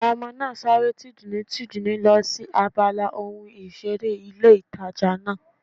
Àwọn ọmọ náà sáré tìdùnnú tìdùnnú lọ sí abala ohun ìseré ilé ìtajà náà